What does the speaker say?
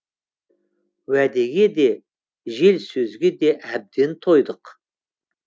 уәдеге де жел сөзге де әбден тойдық